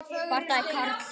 Bardagi Karls